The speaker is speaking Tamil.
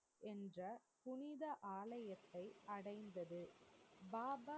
என்ற புனித ஆலயத்தை அடைந்தது. பாபா